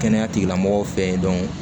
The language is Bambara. Kɛnɛya tigilamɔgɔw fɛ yen